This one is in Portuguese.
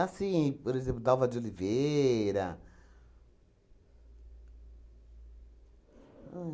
por exemplo, Dalva de Oliveira. Ahn